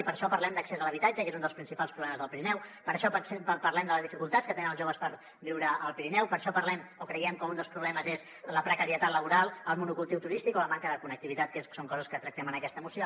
i per això parlem d’accés a l’habitatge que és un dels principals problemes del pirineu per això parlem de les dificultats que tenen els joves per viure al pirineu per això parlem o creiem que un dels problemes és la precarietat laboral el monocultiu turístic o la manca de connectivitat que són coses que tractem en aquesta moció